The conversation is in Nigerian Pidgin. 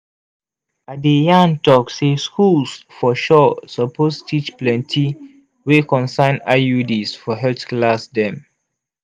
i de yan tok say schools for sure suppose teach plenti wey concern iuds for health class dem